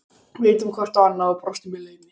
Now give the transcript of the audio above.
Við litum hvort á annað og brostum í laumi.